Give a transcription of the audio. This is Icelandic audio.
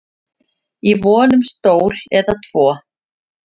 í von um stól eða tvo